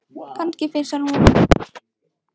Kannski finnst honum hún of gömul.